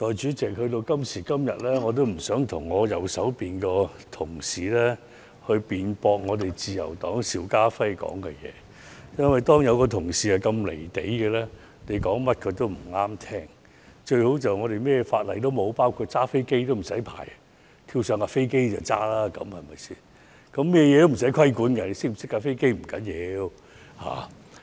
代理主席，今時今日，我已經不想跟我右邊的同事辯論自由黨邵家輝議員所說的話，因為當有同事如此"離地"，你說甚麼他都會覺得不中聽，最好便是香港甚麼法例都沒有，包括駕駛飛機也無需執照，跳上飛機便可以駕駛，對嗎？